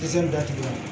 datugulan